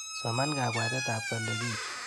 Soman kabwatetab kolekit.